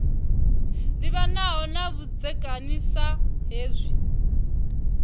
livhanaho na vhudzekani sa hezwi